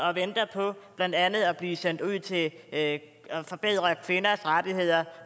og venter på blandt andet at blive sendt ud til at forbedre kvinders rettigheder